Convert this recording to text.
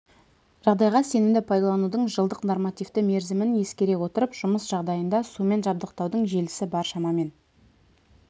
жағдайда сенімді пайдаланудың жылдық нормативті мерзімін ескере отырып жұмыс жағдайында сумен жабдықтаудың желісі бар шамамен